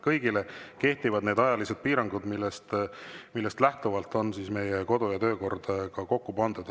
Kõigi kohta kehtivad need ajalised piirangud, millest lähtuvalt on meie kodu‑ ja töökord kokku pandud.